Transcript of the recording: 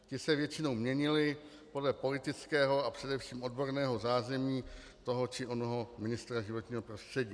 Ti se většinou měnili podle politického a především odborného zázemí toho či onoho ministra životního prostředí.